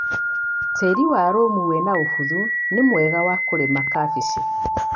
Tĩri wa lũmu wĩna ũbuthu nĩmwega wa kũrĩma kabeci.